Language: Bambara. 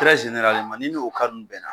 ni n'o ninnu bɛnna